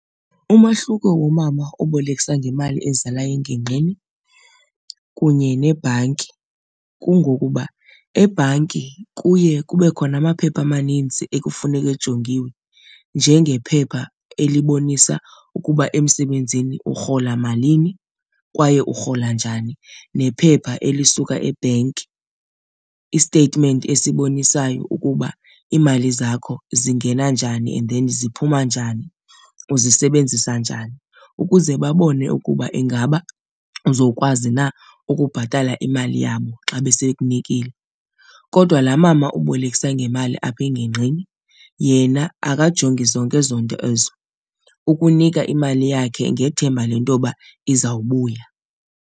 Umahluko womama obolekisa ngemali ezalayo engingqini kunye nebhanki kungokuba ebhanki kuye kube khona amaphepha amaninzi ekufuneka ejongiwe njengephepha elibonisa ukuba emsebenzini urhola malini kwaye urhola njani nephepha elisuka ebhenki, i-statement esibonisayo ukuba iimali zakho zingena njani and then ziphuma njani, uzisebenzisa njani, ukuze babone ukuba ingaba uzokwazi na ukubhatala imali yabo xa besekunikile. Kodwa laa mama ubolekisa ngemali apha engingqini yena akajongi zonke ezo nto ezo, ukunika imali yakhe ngethemba lento yoba izawubuya.